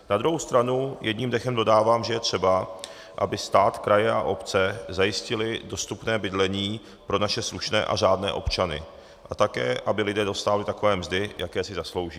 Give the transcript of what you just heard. Na druhou stranu jedním dechem dodávám, že je třeba, aby stát, kraje a obce zajistily dostupné bydlení pro naše slušné a řádné občany a také aby lidé dostávali takové mzdy, jaké si zaslouží.